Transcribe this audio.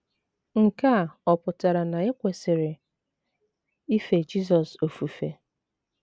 Nke a ọ̀ pụtara na e kwesịrị ife Jizọs ofufe?